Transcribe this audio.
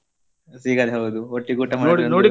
ಸಿಗದೇ ಹೌದು ಒಟ್ಟಿಗೆ ಊಟ .